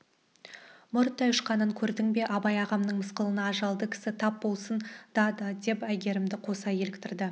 мұрттай ұшқанын көрдің бе абай ағамның мысқылына ажалды кісі тап болсын да деп әйгерімді қоса еліктірді